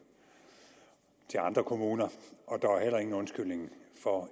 til andre kommuner og der er heller ingen undskyldning for